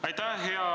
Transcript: Aitäh!